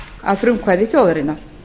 að frumkvæði þjóðarinnar